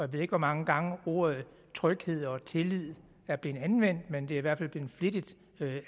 ved ikke hvor mange gange ordene tryghed og tillid er blevet anvendt men det er i hvert fald blevet flittigt